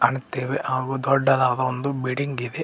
ಕಾಣುತ್ತೇವೆ ಹಾಗೂ ದೊಡ್ಡದಾದ ಒಂದು ಬಿಲ್ಡಿಂಗ್ ಇದೆ.